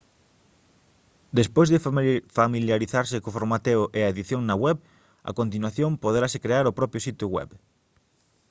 despois de familiarizarse co formateo e a edición na web a continuación poderase crear o propio sitio web